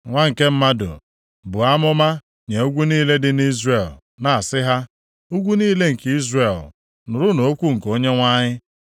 “Nwa nke mmadụ, buo amụma nye ugwu niile dị nʼIzrel, na-asị ha, ‘Ugwu niile nke Izrel, nụrụnụ okwu nke Onyenwe anyị.